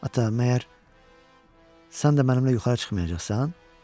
Ata, məgər sən də mənimlə yuxarı çıxmayacaqsan?